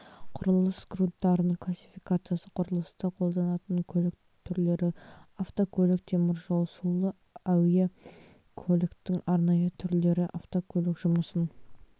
құрылыс грунттарының классификациясы құрылыста қолданатын көлік түрлері автокөліктік теміржол сулы әуе көліктің арнайы түрлері автокөлік жұмысын